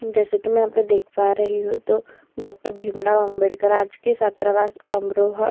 जैसे कि मैं यहाँ पे देख पा रही हूँ तो डॉक्टर भीमराव अंबेडकर राजकीय छात्रावास अमरोहा --